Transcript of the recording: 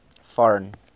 foreign